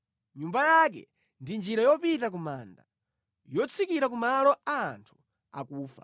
Nyumba yake ndi njira yopita ku manda, yotsikira ku malo a anthu akufa.